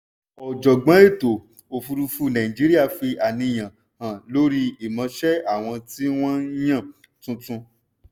ọ̀jọ̀gbọ́n ètò-òfùrúfú nàìjíríà fi àníyàn hàn lórí ìmọṣẹ́ àwọn tí wọ́n yàn tuntun.